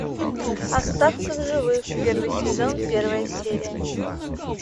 остаться в живых первый сезон первая серия